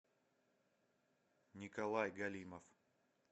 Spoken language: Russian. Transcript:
николай галимов